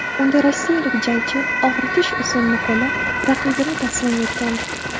Unda rossiyalik jangchi og‘ritish usulini qo‘llab, raqibini taslim etgandi .